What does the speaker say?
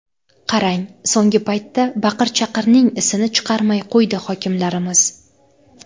Qarang, so‘nggi paytda baqir-chaqirning isini chiqarmay qo‘ydi hokimlarimiz.